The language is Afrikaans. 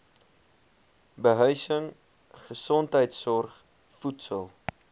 behuising gesondheidsorg voedsel